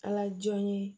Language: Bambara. Ala jɔn ye